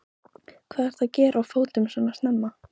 Hvað ertu að gera á fótum svona snemma?